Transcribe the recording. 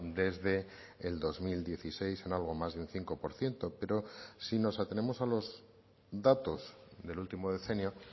desde el dos mil dieciséis en algo más de un cinco por ciento pero si nos atenemos a los datos del último decenio